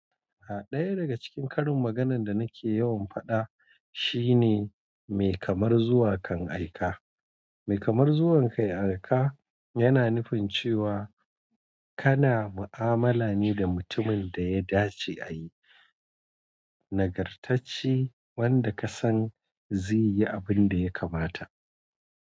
Ha ɗaya daga cikin ƙarin maganan da nake yawan faɗa shine "Mai kamar zuwa kan aika." Mai kamar zuwa kan aika yana nufin cewa kana mu'amala ne da mutumin da ya dace a yi, nagartacce wanda ka san zai yi abin da ya kamata.